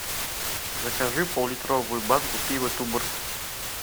закажи пол литровую банку пива туборг